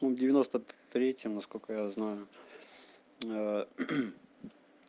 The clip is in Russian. ну в девяносто третьем насколько я знаю